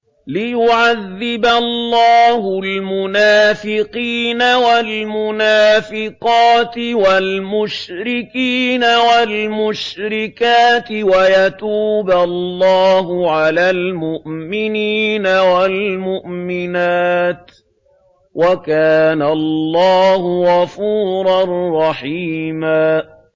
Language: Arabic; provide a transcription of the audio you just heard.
لِّيُعَذِّبَ اللَّهُ الْمُنَافِقِينَ وَالْمُنَافِقَاتِ وَالْمُشْرِكِينَ وَالْمُشْرِكَاتِ وَيَتُوبَ اللَّهُ عَلَى الْمُؤْمِنِينَ وَالْمُؤْمِنَاتِ ۗ وَكَانَ اللَّهُ غَفُورًا رَّحِيمًا